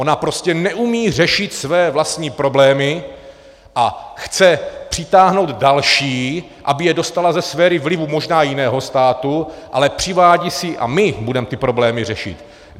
Ona prostě neumí řešit své vlastní problémy a chce přitáhnout další, aby je dostala ze sféry vlivu možná jiného státu, ale přivádí si, a my budeme ty problémy řešit.